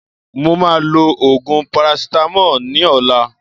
Mo ma lo òògùn parasitamoli ní ọ̀la.